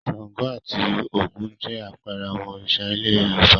Ṣàngó àti Ògún jẹ́ àpẹẹrẹ àwọn Òrìṣà ilẹ̀ Yorùbá.